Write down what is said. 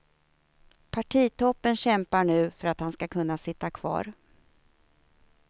Partitoppen kämpar nu för att han ska kunna sitta kvar.